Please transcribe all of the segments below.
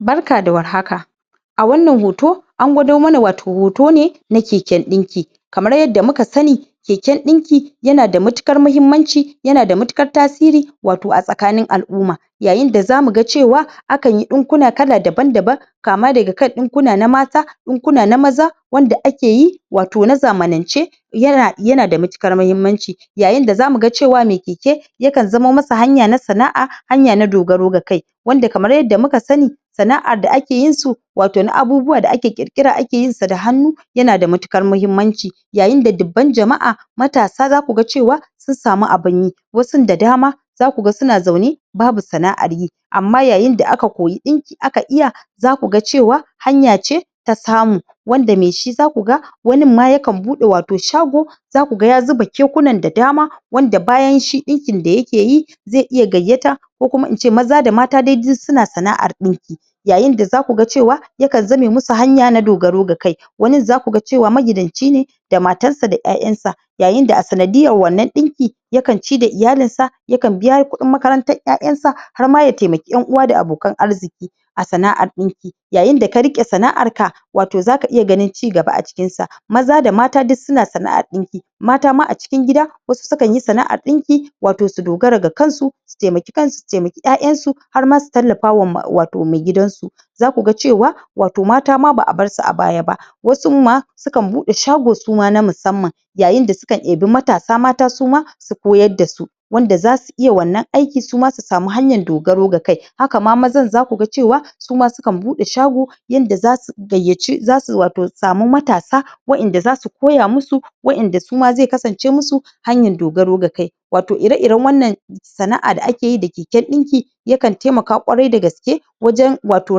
Barka da warhaka a wannan hoto an gwado mana watau hoto ne na keken ɗinki kamar yadda muka sani keken ɗinki yana da matuƙar mahimmanci yana da matuƙar tasiri watau a tsakanin al'umma yayin da zamu ga cewa akan yi ɗinkuna kala daban daban kama daga kan ɗinkuna na mata, ɗinkuna na maza wanda ake yi watau na zamanance yana da matuƙar mahimmanci yayin da zamu ga cewa mai keke yakan zama masa hanya na sana'a, hanya na dogaro da kai wanda kamar yadda muka sani sana'ar da ake yin su watau na abubuwa da ake ƙirƙira ake yin sa da hannu yana da matuƙar mahimmanci yayin da dubban jama'a matasa zaku ga cewa sun samu abun yi wasun da dama zaku ga suna zaune babu sana'ar yi amma yayin da aka koyi ɗinki aka iya zaku ga hanya ce ta samu wanda mai shi zaku ga wanin ma yakan buɗe watau shago zaku ga ya zuba kekunan ɗa dama wanda bayan shi ɗinkin da yake yi zai iya gayyata ko kuma ice maza da mata dai duk suna sana'ar ɗinki yayin da zaku ga cewa wasu yakan zame musu hanya na dogaro da kai wanin zaku ga magidanci ne da matan sa da ƴaƴansa yayin da a sanadiyar wannan ɗinki yakan ci da iyalinsa yakan biya kuɗin makarantar ƴaƴansa, har ma ya taimaki ƴan uwa da abokan arziki a sana'ar ɗinki yayin da ka riƙe sana'ar ka watau zaka iya ganin cigaba a cikinsa maza da mata duk suna sana'ar ɗinki mata ma a cikin gida sukan yi sana'ar ɗinki watau su dogara da kansu su taimaki kansu su taimaki ƴaƴansu har ma su tallafa ma watau maigidansu zaku ga cewa watau mata ma ba a barsu a baya ba wasun ma sukan buɗe shago su ma na musamman yayin da sukan ɗebi matasa mata su ma su koyar da su wanda zasu iya wannan aiki su ma su samu hanyan dogaro da kai haka ma mazan zaku ga cewa su ma sukan buɗe shago yanda zasu gayyaci zasu watau samu matsa wa'inda zasu koya musu wa'inda su ma zai kasance musu hanyan dogaro da kai watau ire-iren sana'a da ake yi da keken ɗinki yakan taimaka ƙwarai da gaske wajen watau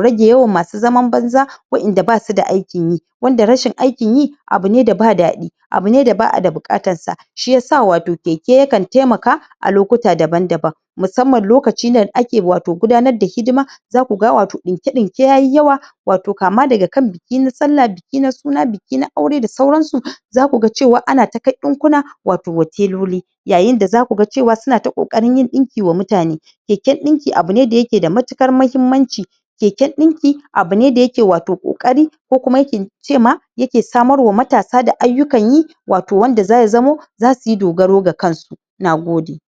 rage yawan masu zaman banza wa'inda basu da aikin yi wanda rashin aikin yi abu ne da ba daɗi abu ne da ba a da buƙatar sa shiyasa watau keke yakan taimaka a lokuta daban daban musamman lokacin da ake watau gudanar da hidima zaku ga watau ɗinkr-ɗinke yayi yawa watau kama daga kan biki na sallah, biki na suna, biki na aure da sauransu zaku ga cewa ana ta kai ɗinkuna watau wa teloli yayin da zaku ga cewa suna ta ƙoƙarin yin ɗinki wa mutan. Keken ɗinki abu ne da yake da matuƙar mahimmanci keken ɗinki abu ne da yake watau ƙoƙari ko kuma ki ce ma yake samar wa matasa da ayyukan yi watau wanda zai zamo zasu yi dogaro da kansu Nagode.